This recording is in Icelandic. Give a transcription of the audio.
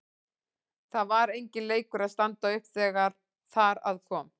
Það var enginn leikur að standa upp þegar þar að kom.